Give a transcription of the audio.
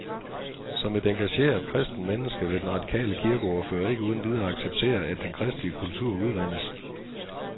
Som et engageret, kristent menneske vil den radikale kirkeordfører ikke uden videre acceptere, at den kristelige kultur udvandes.